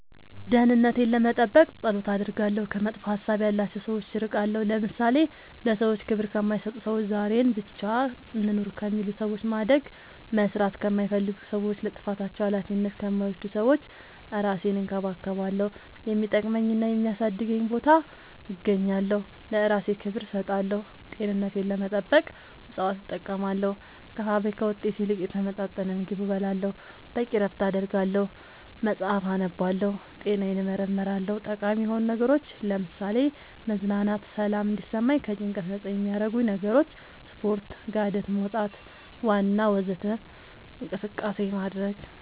ደህንነቴን ለመጠበቅ ፀሎት አደርጋለሁ ከመጥፎ ሀሳብ ያላቸው ሰዎች እርቃለሁ ለምሳሌ ለሰዎች ክብር ከማይሰጡ ሰዎች ዛሬን ብቻ እንኑር ከሚሉ ሰዎች ማደግ መስራት ከማይፈልጉ ሰዎች ለጥፋታቸው አላፊነት ከማይወስዱ ሰዎች እራሴን እንከባከባለሁ የሚጠቅመኝና የሚያሳድገኝ ቦታ እገኛለሁ ለእራሴ ክብር እሰጣለሁ ጤንነቴን ለመጠበቅ እፅዋት እጠቀማለሁ ከፋብሪካ ውጤት ይልቅ የተመጣጠነ ምግብ እበላለሁ በቂ እረፍት አደርጋለሁ መፅአፍ አነባለሁ ጤናዬን እመረመራለሁ ጠቃሚ የሆኑ ነገሮች ለምሳሌ መዝናናት ሰላም እንዲሰማኝ ከጭንቀት ነፃ የሚያረጉኝ ነገሮች ስፓርት ጋደት መውጣት ዋና ወዘተ እንቅስቃሴ ማድረግ